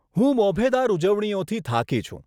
હું મોભેદાર ઉજવણીઓથી થાકી છું.